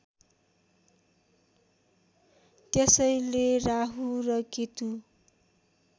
त्यसैले राहु र केतु